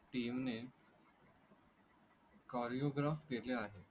टीमने कोरिओग्राफ केले आहेत.